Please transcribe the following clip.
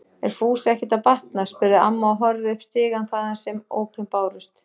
Er Fúsa ekkert að batna? spurði amma og horfði upp stigann þaðan sem ópin bárust.